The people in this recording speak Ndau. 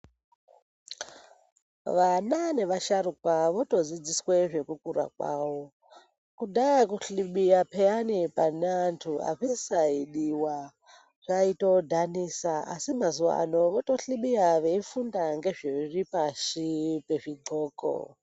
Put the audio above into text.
Vana nevasharuka votodzidziswe zvekukura kwavo. Kudhaya kuhlibiya pheyani pane antu azvisaidiwa, zvaitodhanisa. Asi mazuwaano, votohlibiya veifunda ngezviri pashi pezvidxoko.